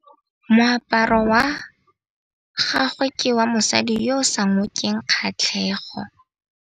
Moaparô wa gagwe ke wa mosadi yo o sa ngôkeng kgatlhegô.